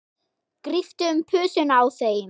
Gríptu um pussuna á þeim.